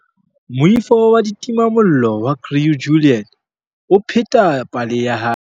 Moifo wa ditimamollo wa Crew Juliet o pheta pale ya hae.